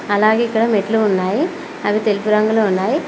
అలాగే ఇక్కడ మెట్లు ఉన్నాయి అవి తెలుపు రంగులో ఉన్నాయి.